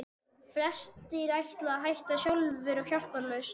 Flestir ætla að hætta sjálfir og hjálparlaust.